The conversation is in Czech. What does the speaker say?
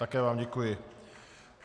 Také vám děkuji.